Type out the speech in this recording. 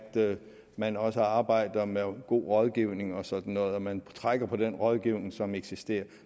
man også arbejder med god rådgivning og sådan noget at man trækker på den rådgivning som eksisterer